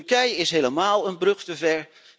Turkije is helemáál een brug te ver.